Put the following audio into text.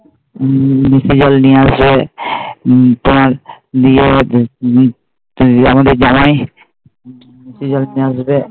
হম নিশি জল নিয়ে আসবে তোমার নিয়ে গিয়েছে আমাদের জামাই নিশি জল নিয়ে আসবে